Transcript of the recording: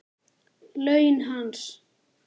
Laun hans?